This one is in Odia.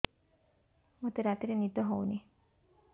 ମୋତେ ରାତିରେ ନିଦ ହେଉନି